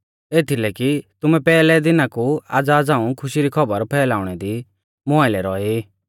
एथीलै कि तुमै पैहलै दिना कु आज़ा झ़ांऊ खुशी री खौबर फैलाउणै दी मुं आइलै रौऐ ई